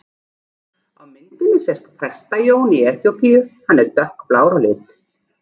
Á myndinni sést Presta-Jón í Eþíópíu, hann er dökkblár á lit.